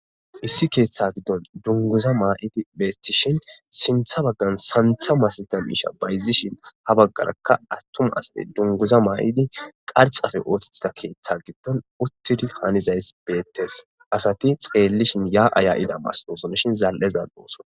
Issi keeththaa giddon dungguza may7idi beeththishin sinththa baggan sanththa masathiya miishsha bayzzishin ha baggarakka aththuma asay dunguza ma7idi qarxxape ooseththida keeththaa giddon uththidi hanizayssi beeththes; asathi tseelishin yaa7a yaa7ira masathoosonashin zal7e zal7oosona.